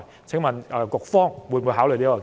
請問局方會否考慮這建議？